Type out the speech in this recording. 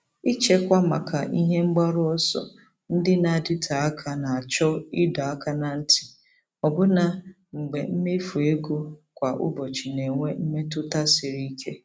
Ịchekwa maka ihe mgbaru ọsọ ndị na-adịte aka na-achọ ịdọ aka ná ntị, ọbụna mgbe mmefu ego kwa ụbọchị na-enwe mmetụta siri ike.